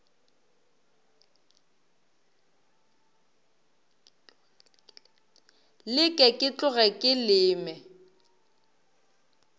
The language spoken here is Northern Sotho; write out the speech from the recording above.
leke ke tloge ke leme